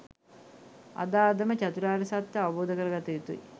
අද අදම චතුරාර්ය සත්‍යය අවබෝධ කරගත යුතුයි